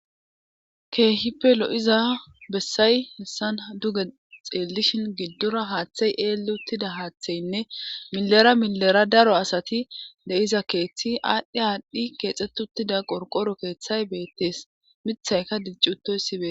keehipe lo7iza bessay hessan duge xeellishin giddora haaththey eel uttida haaththeynne milera milera daro asati deiza keeththi aadhdhi aadhdhi keexxetuttida qorqoro keeththay beettees mithayka diccutoy sibe